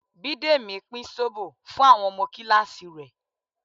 Bidemi pín zobo fún àwọn ọmọ kíláàsì rẹ̀